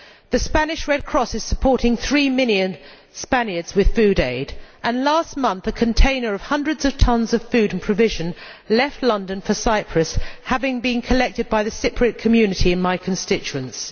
The Spanish Red Cross is supporting three million Spaniards with food aid, and last month a container of hundreds of tons of food and provisions left London for Cyprus, having been collected by the Cypriot community in my constituency.